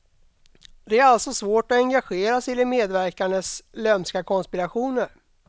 Det är alltså svårt att engagera sig i de medverkandes lömska konspirationer.